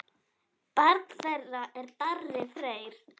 Barn þeirra er Darri Freyr.